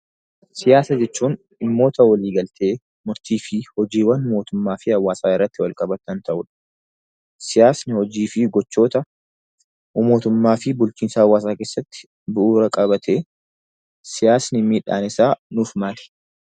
Siyaasa jechuun dhimmoota walii galtee ,murtiiwwan mootummaa fi hawwaasaa irratti wal qabatan kan ta'uu dha. Siyaasni hojii fi gochoota mootummaa bulchiinsa hawwaasaa keessatti bu'uura qabaatee dha. Siyaasni miidhaan isaa nuuf maali?